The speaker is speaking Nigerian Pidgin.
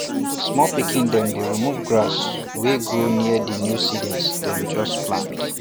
small pikin dem dey remove grass wey grow near di new seedlings dem just plant